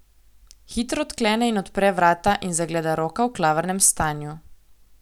Hitro odklene in odpre vrata in zagleda Roka v klavrnem stanju.